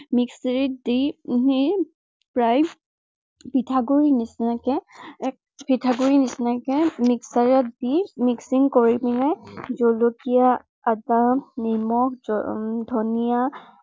দি উম প্ৰায় পিঠাগুৰিৰ নিচিনাকে এক পিঠাগুৰিৰ নিচিনাকে mixer ত দি mixing কৰি কিনে জলকীয়া, আদা, নিমখ, উম ধনীয়া